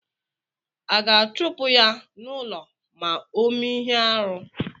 A ga-achupu ya n'ulọ ma ọ mee ihe-árú?